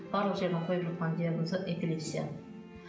барлық жердің қойып жатқан диагнозы эпилепсия